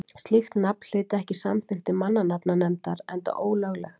Slíkt nafn hlyti ekki samþykki mannanafnanefndar enda ólöglegt.